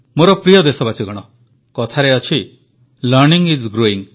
ମୋର ପ୍ରିୟ ଦେଶବାସୀଗଣ କଥାରେ ଅଛି ଲର୍ଣ୍ଣିଂ ଆଇଏସ୍ ଗ୍ରୋଇଂ